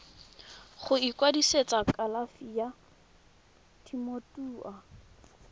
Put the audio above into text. go ikwadisetsa kalafi ya temothuo